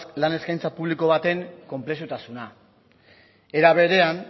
lan eskaintza publiko baten konplexutasuna era berean